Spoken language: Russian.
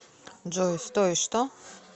джой стой что